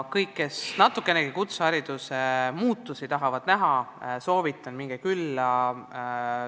Kõigil, kes natukenegi kutsehariduse muutumist tahavad näha, soovitan sinna külla minna.